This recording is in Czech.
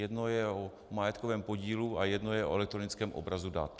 Jedno je o majetkovém podílu a jedno je o elektronickém obrazu dat.